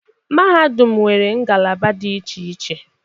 Mahadum nwere ngalaba dị iche iche.